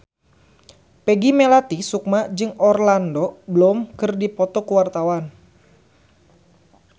Peggy Melati Sukma jeung Orlando Bloom keur dipoto ku wartawan